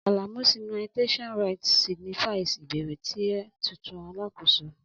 Alamu'sinitiation rites signifies ibẹrẹ ti a titun alakoso.